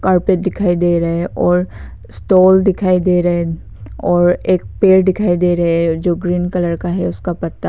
Carpet दिखाई दे रहे हैं और स्टॉल दिखाई दे रहे हैं और एक पेड़ दिखाई दे रहे हैं जो ग्रीन कलर का है उसका पत्ता।